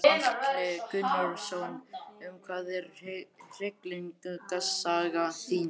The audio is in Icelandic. Gunnar Atli Gunnarsson: Um hvað er hryllingssaga þín?